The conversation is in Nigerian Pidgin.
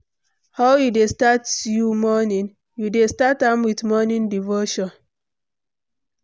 how you dey start you morning, you dey start am with morning devotion?